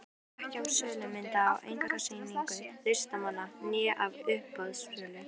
Ekki af sölu mynda á einkasýningum listamanna né af uppboðssölu.